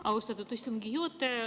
Austatud istungi juhataja!